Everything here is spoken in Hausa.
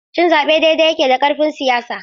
Cin zaɓe daidai yake da karfin siyasa.